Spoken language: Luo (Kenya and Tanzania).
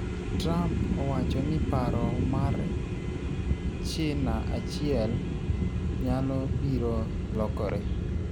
Trump owacho ni paro mar Cina achiel nyalo biro lokore.